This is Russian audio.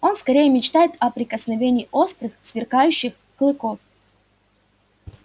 он скорее мечтает о прикосновении острых сверкающих клыков